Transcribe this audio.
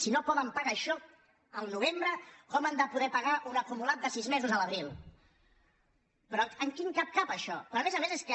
si no poden pagar això al novembre com han de poder pagar un acumulat de sis mesos a l’abril però en quin cap cap això però a més a més és que